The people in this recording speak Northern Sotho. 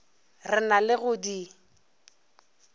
re na le go di